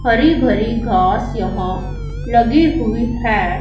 हरी भरी घास यहां लगे हुए हैं।